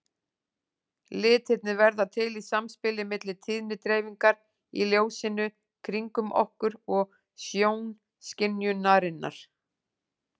Litirnir verða til í samspili milli tíðnidreifingar í ljósinu kringum okkur og sjónskynjunarinnar.